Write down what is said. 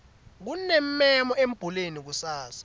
kunemmemo embuleni kusasa